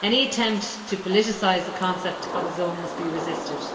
Any attempt to politicise the concept of a zone must be resisted.